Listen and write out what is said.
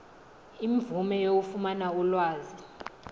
imvume yokufumana ulwazi